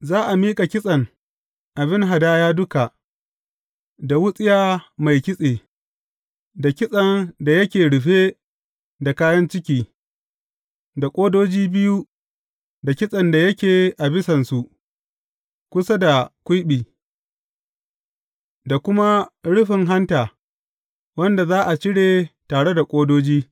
Za a miƙa kitsen abin hadaya duka, da wutsiya mai kitse, da kitsen da yake rufe da kayan ciki, da ƙodoji biyu da kitsen da yake a bisansu kusa da kwiɓi, da kuma rufin hanta, wanda za a cire tare da ƙodoji.